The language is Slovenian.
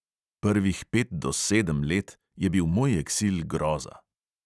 Prvih pet do sedem let je bil moj eksil groza.